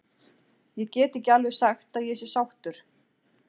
Ég get ekki alveg sagt að ég sé sáttur.